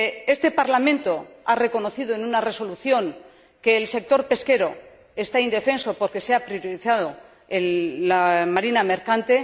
Este Parlamento ha reconocido en una resolución que el sector pesquero está indefenso porque se ha dado prioridad a la marina mercante.